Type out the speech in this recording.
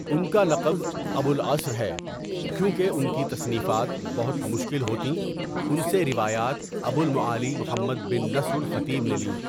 ان کا لقب ابو العسر ہے کیونکہ ان کی تصنیفات بہت مشکل ہوتیں ان سے روایات ابو المعالی محمد بن نصر الخطيب نے لیں.